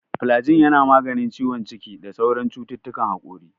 Filajil yana maganin gyambon ciki da sauran cututtukan hakori.